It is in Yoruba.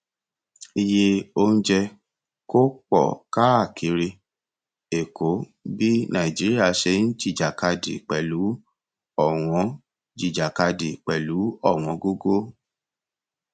iye oúnjẹ kó pọ káàkiri èkó bí nàìjíríà ṣe ń jìjàkadì pẹlú ọwọn jìjàkadì pẹlú ọwọn gógó